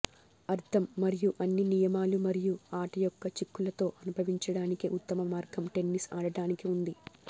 అర్థం మరియు అన్ని నియమాలు మరియు ఆట యొక్క చిక్కులతో అనుభవించడానికి ఉత్తమ మార్గం టెన్నిస్ ఆడటానికి ఉంది